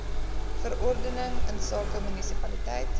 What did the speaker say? verordening insake munisipaliteit